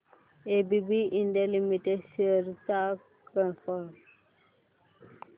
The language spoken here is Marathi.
एबीबी इंडिया लिमिटेड शेअर्स चा परफॉर्मन्स